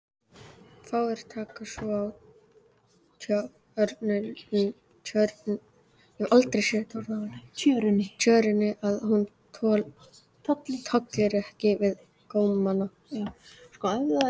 Fáir taka svo á tjörunni að hún tolli ekki við gómana.